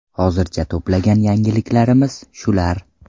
Hozircha to‘plagan yangiliklarimiz shular.